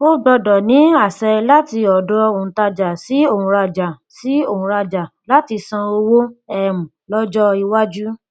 ó gbọdọ ní àṣẹ láti ọdọ òǹtajà sí òǹrajà sí òǹrajà láti san owó um lọjọ iwájú